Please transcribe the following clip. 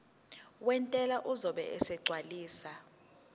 wentela uzobe esegcwalisa